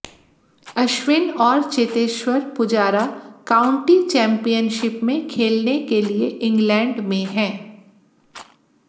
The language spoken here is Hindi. अश्विन और चेतेश्वर पुजारा काउंटी चैम्पियनशिप में खेलने के लिये इंग्लैंड में हैं